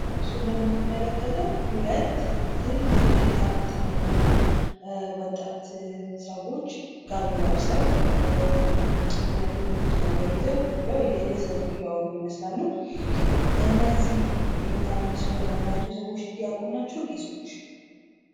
በምስሉ ላይ የምንመለከተው ሁለት ትልልቅ ጥምጣም የጠመጠሙ ወጣት ሰዎች ጋቢ ለብሰው፤ ምርኩዝ ነገር ይዘው ቁጭ ብለው እየሳቁ(እያወሩ) ይመስላሉ። እነዚህ ምስሉ ላይ የምናያቸው ሰዎች ዲያቆን ናቸው ቄሶች?